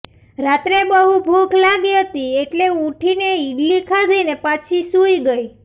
રાત્રે બહુ ભૂખ લાગી હતી એટલે ઉઠી ને ઇડલી ખાધી ને પાછી સૂઇ ગઇ